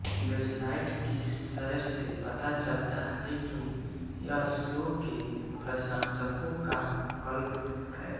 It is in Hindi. वेबसाइट की सैर से पता चलता हैं कि यह शो के प्रशंसकों का क्लब है